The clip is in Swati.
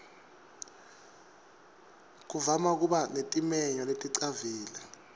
kuvama kuba netimenywa leticavile